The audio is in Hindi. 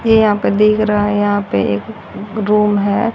मैं यहां पर देख रहा है यहां पे एक रूम है।